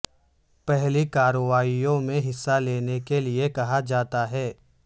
پہلی کارروائیوں میں حصہ لینے کے لئے کہا جاتا ہے